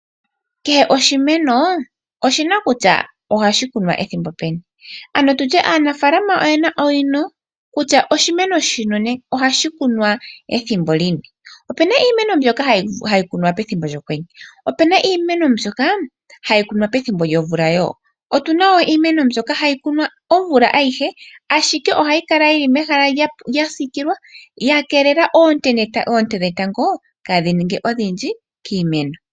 Kehe oshimeno oshi na kutya ohashi kunwa ethimbo peni, ano tu tye aanafaalama oye na owino kutya oshimeno shino ohashi kunwa ethimbo lini. Opu na iimeno mbyoka hayi kunwa pethimbo lyOkwenye, opu na iimeno mbyoka hayi kunwa pethimbo lyomvula wo. Otu na iimeno mbyoka hayi kunwa omvula ayihe, ashike ohayi kala yi li mehala lya siikilwa ya keelelwa oonte dhetango kaadhi ninge odhindji kiimeno.